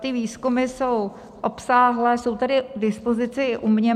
Ty výzkumy jsou obsáhlé, jsou tady k dispozici u mě.